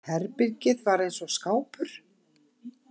Herbergið var eins og skápur.